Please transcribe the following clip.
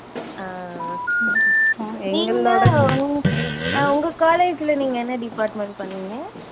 அஹ் நீங்க அஹ் உங்க college ல நீங்க என்ன department பண்ணீங்க